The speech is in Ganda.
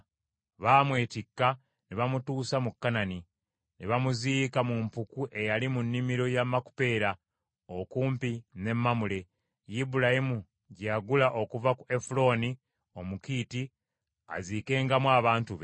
Baamwetikka ne bamutuusa mu Kanani, ne bamuziika mu mpuku eyali mu nnimiro ya Makupeera, okumpi ne Mamule, Ibulayimu gye yagula okuva ku Efulooni Omukiiti, aziikengamu abantu be.